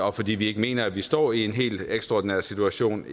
og fordi vi ikke mener at vi står i en helt ekstraordinær situation